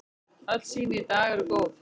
Öll sýni í dag eru góð.